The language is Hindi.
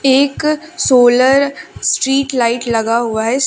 एक सोलर स्ट्रीट लाइट लगा हुआ है।